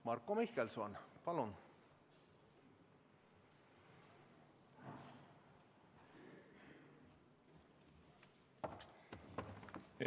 Marko Mihkelson, palun!